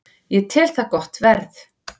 Ég tel það gott verð